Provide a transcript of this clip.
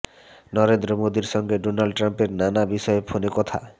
নরেন্দ্র মোদীর সঙ্গে ডোনাল্ড ট্রাম্পের নানা বিষয়ে ফোনে কথা